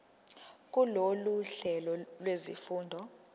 kulolu hlelo lwezifundo